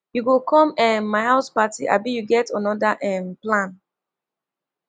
you go come um my house party abi you get anoda um plan